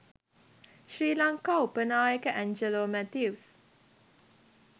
ශ්‍රී ලංකා උප නායක ඇන්ජලෝ මැතිව්ස්